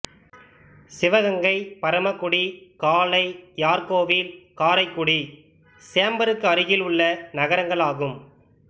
சிவகங்கை பரமக்குடி காளையார்காேவில் காரைக்குடி சேம்பருக்கு அருகில் உள்ள நகரங்கள் ஆகும்